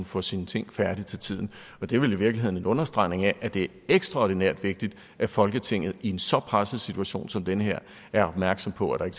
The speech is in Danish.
få sine ting færdige til tiden og det er vel i virkeligheden en understregning af at det er ekstraordinært vigtigt at folketinget i en så presset situation som den her er opmærksom på at